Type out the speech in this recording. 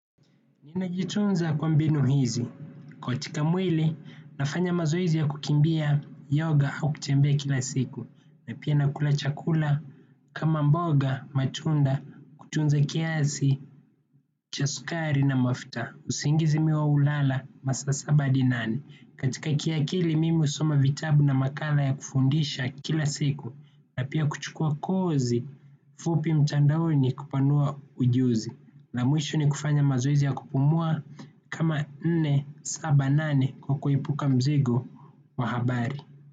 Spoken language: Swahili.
Ninajitunza kwa mbinu hizi. Katika mwili, nafanya mazoezi ya kukimbia, yoga au kutembea kila siku. Na pia nakula chakula, kama mboga, matunda, kutunza kiasi, cha sukari na mafuta, usingizi mi huwa hulala, masaa saba adi nane. Katika kiakili, mimi husoma vitabu na makala ya kufundisha kila siku. Na pia kuchukua kozi fupi mtandaoni kupanua ujuzi. La mwisho ni kufanya mazoezi ya kupumua kama nne, saba, nane kwa kuepuka mzigo wa habari.